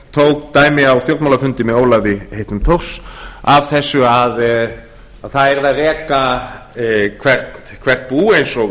tók dæmi á stjórnmálafundi með ólafi heitnum thors af þessu að það yrði að reka hvert bú